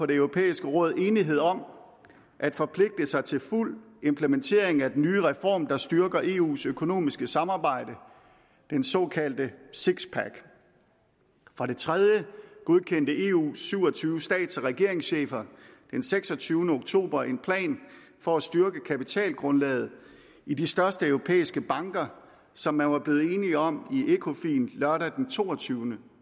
det europæiske råd enighed om at forpligte sig til fuld implementering af den nye reform der styrker eus økonomiske samarbejde den såkaldte six pack for det tredje godkendte eus syv og tyve stats og regeringschefer den seksogtyvende oktober en plan for at styrke kapitalgrundlaget i de største europæiske banker som man var blevet enig om i ecofin lørdag den toogtyvende